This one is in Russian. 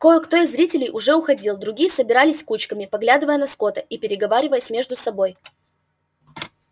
кое-кто из зрителей уже уходил другие собирались кучками поглядывая на скотта и переговариваясь между собой